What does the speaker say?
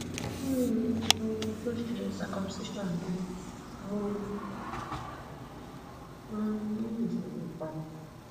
ki n um to se cs]circumcision na mo um ni isoro kan[